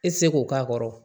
E tɛ se k'o k'a kɔrɔ